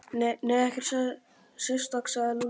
Nei, ekkert sérstakt sagði Lúlli.